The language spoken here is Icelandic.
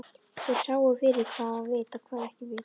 Þeir sáu fyrir hvað var vit og hvað ekki vit.